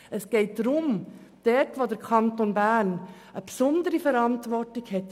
Es geht darum, dass der Kanton Bern eine besondere Verantwortung hat.